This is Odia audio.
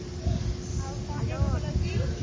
ଆଉ କଣ ଦେହ ପା ଭଲଅଛି